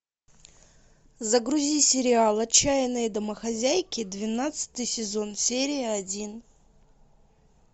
загрузи сериал отчаянные домохозяйки двенадцатый сезон серия один